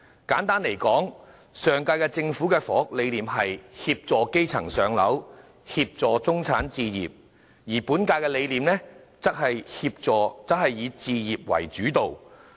簡單而言，上屆政府的房屋理念是"協助基層上樓、協助中產置業"，而本屆的理念則是以"置業為主導"。